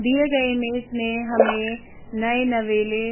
दिए गए इमेज में हमें नए नवेले --